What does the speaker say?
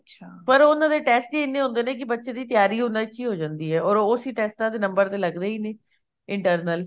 ਪਰ ਉਹਨਾ ਦੇ test ਹੀ ਇੰਨੇ ਹੁੰਦੇ ਨੇ ਕੀ ਬੱਚੇ ਦੀ ਤਿਆਰੀ ਉਹਨਾ ਵਿੱਚ ਹੀ ਹੋ ਜਾਂਦੀ ਐ or ਉਹ ਇਸੀ ਟੈਸਟਾ ਦੇ ਤਾਂ number ਲੱਗਦੇ ਹੀ ਨੇ internal